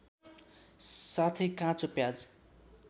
साथै काँचो प्याज